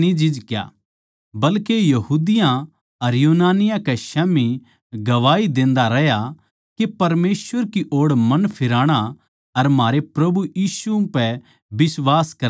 बल्के यहूदियाँ अर यूनानियाँ कै स्याम्ही गवाही देंदा रहया के परमेसवर की ओड़ मन फिराणा अर म्हारै प्रभु यीशु पै बिश्वास करणा चाहिये